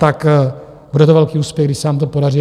Tak bude to velký úspěch, když se nám to podaří.